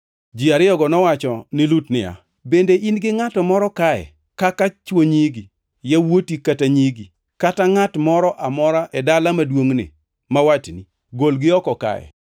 Ji ariyogo nowacho ni Lut niya, “Bende in gi ngʼato moro kae kaka chwo nyigi, yawuoti kata nyigi, kata ngʼat moro amora e dala maduongʼni ma watni? Golgi oko kae,